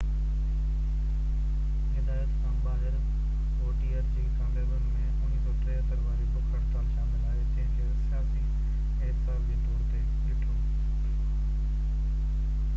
هدايت کان ٻاهر ووٽيئر جي ڪاميابين ۾ 1973 واري بک هڙتال شامل آهي جنهن کي سياسي احتساب جي طور تي ڏٺو